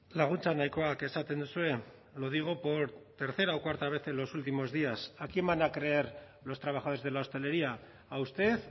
laguntza nahikoak esaten duzue lo digo por tercera o cuarta vez en los últimos días a quién van a creer los trabajadores de la hostelería a usted